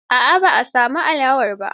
A'a ban samu alawar ba.